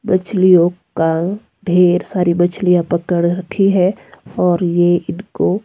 मछलियों का ढेर सारी मछलियां पकड़ रखी है और ये इनको--